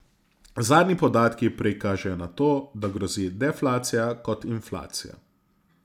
Zadnji podatki prej kažejo na to, da grozi deflacija kot inflacija.